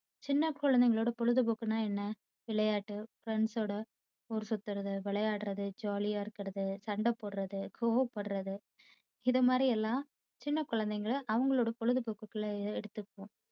சின்ன குழந்தைங்களோட பொழுதுபோக்குன்னா என்ன? விளையாட்டு friends ஓட ஊர்சுத்துவது விளையாடுறது jolly ஆ இருக்குறது சண்டைபோடுறது கோவப்படுறது இதுமாதிரி எல்லாம் சின்ன குழந்தைங்க அவங்களோட பொழுதுபோக்குகுள்ள எடுத்துக்குவாங்க